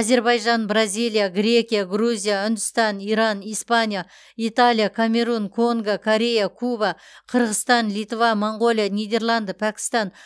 әзербайжан бразилия грекия грузия үндістан иран испания италия камерун конго корея куба қырғызстан литва моңғолия нидерланды пәкістан